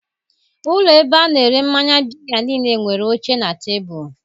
Ụlọ ebe a na-ere mmanya biya niile nwere oche na tebụl.